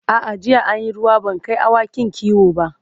a'a jiya an Yi ruwa ban Kai awakin kiwo ba